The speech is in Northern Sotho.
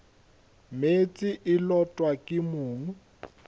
meetse e lotwa ke mong